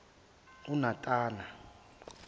unatana